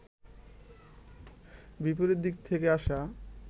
বিপরীত দিক থেকে আসা